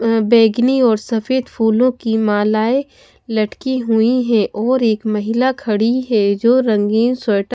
अं बेंगनी और सफेद फूलों की मालाएं लटकी हुई है और एक महिला खड़ी है जो रंगीन स्वेट --